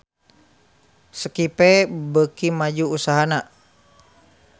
Skype beuki maju usahana